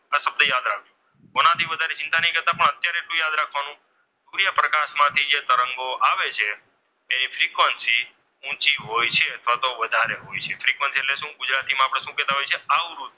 સૂર્યપ્રકાશ માંથી જે તરંગો આવે છે તેની ફ્રિકવન્સી ઊંચી હોય છે અથવા તો વધારે હોય છે ફ્રિકવન્સી એટલે શું ગુજરાતીમાં આપણે શું કહેતા હોઈએ છીએ આવૃત્તિ.